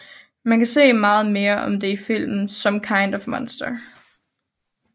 Man kan se meget mere om det i filmen Some Kind of Monster